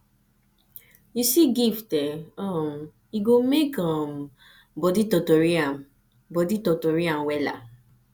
yu see gift eh um e go mek um body totori am body totori am wella